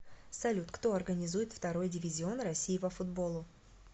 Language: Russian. салют кто организует второй дивизион россии по футболу